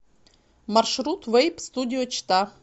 маршрут вэйп студио чита